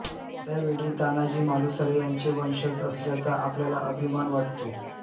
त्यावेळी तान्हाजी मालुसरे यांचे वंशज असल्याचा आपल्याला अभिमान वाटतो